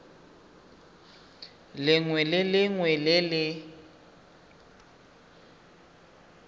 lengwe le lengwe le le